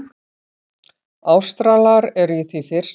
Ástralar eru í því fyrsta.